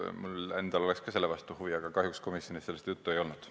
Mul endal oleks samuti selle vastu huvi, aga kahjuks komisjonis sellest juttu ei olnud.